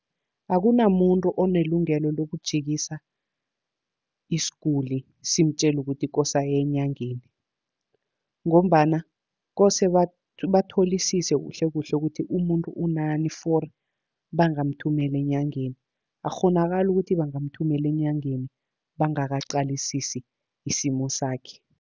Akunamuntu onelungelo lokujikisa isiguli simtjela ukuthi kose aye enyangeni, ngombana kose batholisise kuhle kuhle ukuthi umuntu unani for bangamthumela enyangeni. Akukghonakali ukuthi bangamthumela enyangeni bangakaqalisisi isimo sakhe.